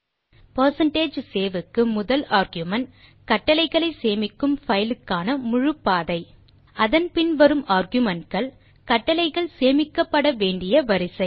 percentage save க்கு முதல் argument கட்டளைகளை சேமிக்கும் பைல் க்கான முழு பாதை அதன் பின் வரும் ஆர்குமென்ட் கள் கட்டளைகள் சேமிக்கப்பட வேண்டிய வரிசை